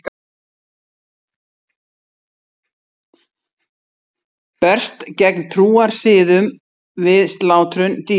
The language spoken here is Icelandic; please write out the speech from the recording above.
Berst gegn trúarsiðum við slátrun dýra